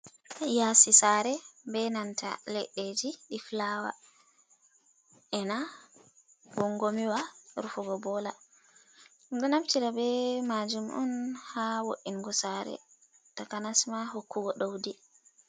Ya'si sa're be nanta leɗɗeji ɗi fulawa, ena gongomiwa rufugo bola, ɗumɗo naftira be majum on ha wo’ingo sa're takanasma hokkugo doudi.